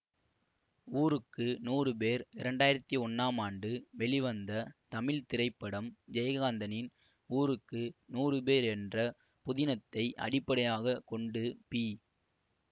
ஊருக்கு நூறு பேர் இரண்டு ஆயிரத்தி ஒன்னாம் ஆண்டு வெளிவந்த தமிழ் திரைப்படம் ஜெயகாந்தனின் ஊருக்கு நூறு பேர் என்ற புதினத்தை அடிப்படையாக கொண்டு பி